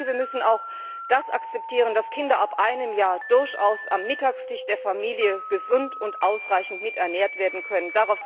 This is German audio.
Wir müssen auch akzeptieren, dass Kinder ab einem Jahr durchaus am Mittagstisch der Familie gesund und ausreichend miternährt werden können.